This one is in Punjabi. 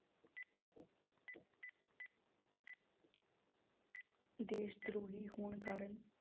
ਦੇਸ ਦਰੋਹੀ ਹੋਣ ਕਾਰਨ